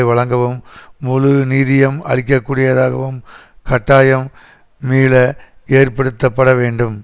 வழங்கவும் முழு நிதியம் அளிக்கக்கூடியதாகவும் கட்டாயம் மீள ஏற்படுத்தப்பட வேண்டும்